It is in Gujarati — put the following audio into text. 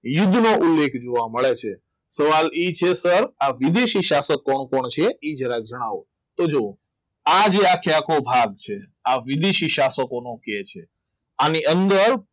યુદ્ધ નો ઉલ્લેખ જોવા મળે છે સવાલ એ છે કે આ વિદેશી શાસક કોણ કોણ છે એ જરા જણાવો તો જુઓ આજે આખેઆખો ભાગ છે આ વિદેશી સ્થાપકોનું આની અંદર